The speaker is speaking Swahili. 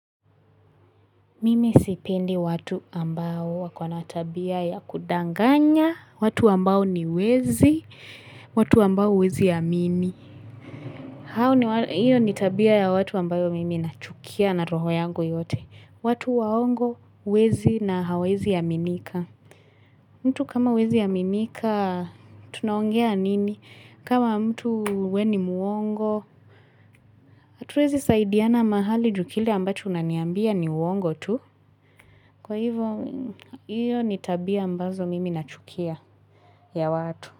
Mimi sipendi watu ambao wakona tabia ya kudanganya, watu ambao ni wezi, watu ambao huwezi amini. Iyo ni tabia ya watu ambayo mimi nachukia na roho yangu yote. Watu waongo, wezi na hawaezi aminika. Mtu kama huwezi aminika, tunaongea nini? Kama mtu we ni mwongo, hatuwezi saidiana mahali juu kile ambacho unaniambia ni uongo tu. Kwa hivyo, hiyo ni tabia ambazo mimi nachukia ya watu.